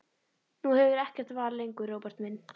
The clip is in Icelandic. Nú hefurðu ekkert val lengur, Róbert minn.